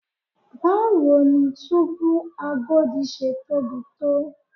Báwo ni túbú Agodi ṣe tóbi tó?